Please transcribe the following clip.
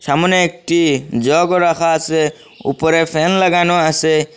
সামোনে একটি জগও রাখা আসে উপরে ফ্যান লাগানো আসে।